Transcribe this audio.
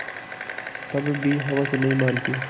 तब भी हवस नहीं मानती